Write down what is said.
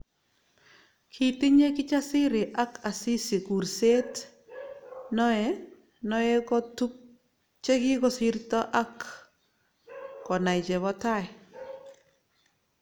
kitinyeiKijasri ak Asisi kurset noe noekotub chekikosirto ak konai chebo tai